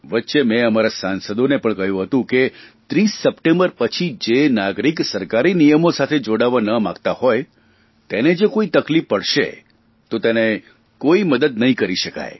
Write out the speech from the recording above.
વચ્ચે મેં અમારા સાંસદોને પણ કહ્યું હતું કે 30 સપ્ટેમ્બર પછી જે નાગરિક સરકારી નિયમો સાથે જોડાવા માંગતા હોય તેને જો કોઇ તકલીફ પડશે તો તેને કોઇ મદદ નહીં કરી શકાય